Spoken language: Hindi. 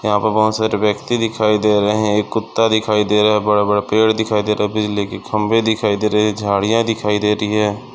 यहाँ पे बहुत सारी व्यक्ति दिखाई दे रहे है एक कुत्ता दिखाई दे रहा बड़े-बड़े पेड़ दिखाई दे रहे है बिजली के खंबे दिखाई दे रही है झाड़ीया दिखाई दे रही है।